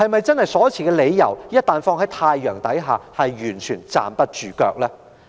政府所持的理由，在太陽底下是否完全站不住腳？